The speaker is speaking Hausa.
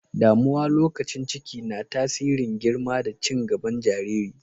Damuwa lokacin ciki na tasirin girma da cin gaban jaririn.